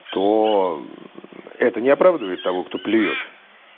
то это не оправдывает того кто плюёт